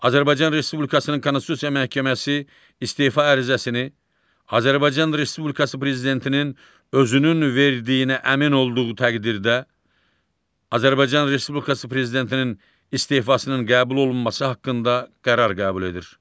Azərbaycan Respublikasının Konstitusiya Məhkəməsi istefa ərizəsini Azərbaycan Respublikası prezidentinin özünün verdiyinə əmin olduğu təqdirdə Azərbaycan Respublikası prezidentinin istefasının qəbul olunması haqqında qərar qəbul edir.